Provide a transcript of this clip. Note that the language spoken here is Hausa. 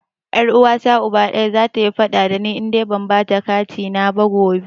Ƴar Uwata Uba ɗaya, zata yi faɗa da ni idan ban bata katina na ba gobe.